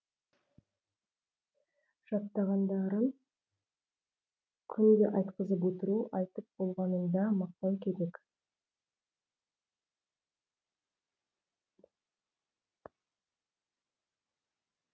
жаттағандарын күнде айтқызып отыру айтып болғанында мақтау керек